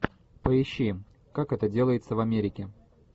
поищи как это делается в америке